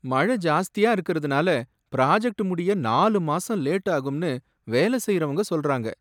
மழை ஜாஸ்தியா இருக்கறதுனால ப்ராஜெக்ட் முடிய நாலு மாசம் லேட் ஆகும்னு வேல செய்றவங்க சொல்றாங்க.